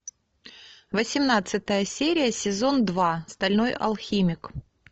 восемнадцатая серия сезон два стальной алхимик